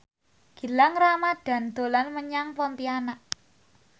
Gilang Ramadan dolan menyang Pontianak